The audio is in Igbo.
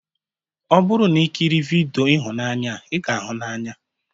Ọ bụrụ na ikiri vidiyo ihunanya a, ị ga-ahụ n'anya